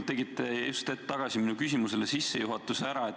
Te tegite tegelikult just hetk tagasi minu küsimusele sissejuhatuse ära.